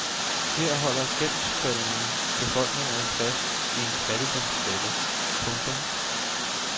Her holder gældsfælden befolkningerne fast i en fattigdomsfælde. punktum